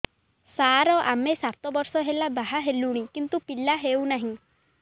ସାର ଆମେ ସାତ ବର୍ଷ ହେଲା ବାହା ହେଲୁଣି କିନ୍ତୁ ପିଲା ହେଉନାହିଁ